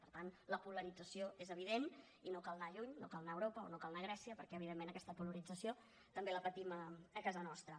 per tant la polarització és evident i no cal anar lluny no cal anar a europa o no cal anar a grècia perquè evidentment aquesta polarització també la patim a casa nostra